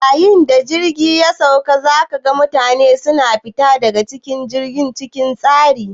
Yayin da jirgi ya sauka, za ka ga mutane na fita daga jirgi cikin tsari.